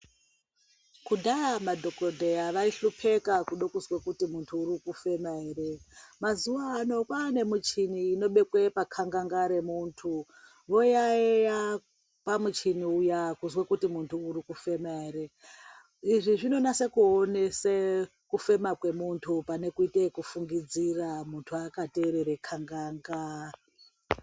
Kudhaya madhogodheya vaihlopeka kuda kuziya kuti muntu urikufema ere. Mazuva ano kwane michini inobekwa pakanganga remuntu voyaiya pamuchini uya kuzwe kuti muntu urikufema ere. Izvi zvinonase kuonese kufema kwemuntu pane kude kufungidzira muntu akaterere kanganga.